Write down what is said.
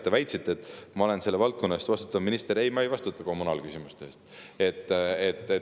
Te väitsite, et ma olen selle valdkonna eest vastutav minister – ei, ma ei vastuta kommunaalküsimuste eest.